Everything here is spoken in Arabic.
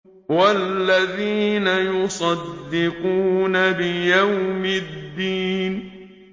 وَالَّذِينَ يُصَدِّقُونَ بِيَوْمِ الدِّينِ